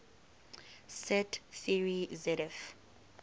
set theory zf